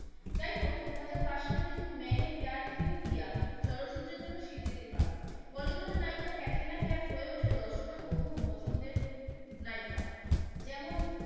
যাই হোক দুহাজার পাঁচ সালে তিনি মেনে পেয়ার কিউ কীয়া চলচ্চিত্রের জন্য স্বীকৃতি পান, বলিউড এর নায়িকা ক্যাটরিনা কাইফ হয়ে ওঠেন দর্শকের প্রথম পছন্দের নায়িকা। যেমন,